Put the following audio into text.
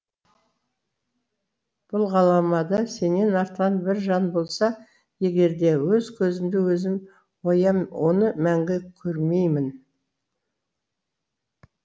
бұл ғаламда сенен артқан бір жан болса егерде өз көзімді өзім оям оны мәңгі көрмеймін